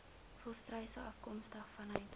volstruise afkomstig vanuit